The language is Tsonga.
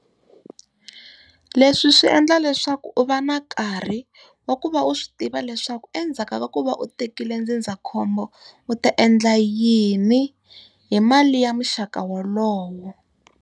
Leswi swi endla leswaku u va na nkarhi wa ku va u swi tiva leswaku endzhaku ka ku va u tekile ndzindzakhombo, u ta endla yini hi mali ya muxaka wolowo.